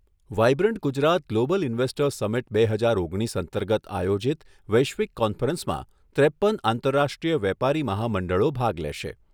Vibrant Gujarat global investors summit બે હજાર ઓગણીસ અંતર્ગત આયોજીત વૈશ્વિક કોન્ફરન્સમાં ત્રેપ્પન આંતરરાષ્ટ્રીય વેપારી મહામંડળો ભાગ લેશે.